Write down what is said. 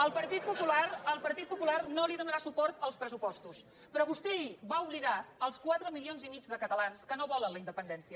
el partit popular el partit popular no donarà suport als pressupostos però vostè ahir va oblidar els quatre milions i mig de catalans que no volen la independència